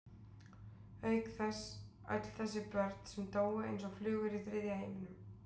Auk þess öll þessi börn sem dóu eins og flugur í þriðja heiminum.